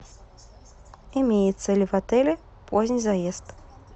имеется ли в отеле поздний заезд